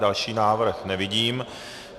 Další návrh nevidím.